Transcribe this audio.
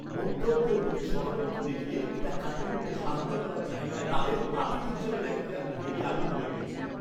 মদ্যপদের প্রতি সহানুভূতি দেখিয়ে এটা কাটিয়ে উঠতে সাহায্য করার জায়গায় তাদের বাতিল হিসেবে দেখাতে আমি রেগে আগুন হয়ে গেছিলাম।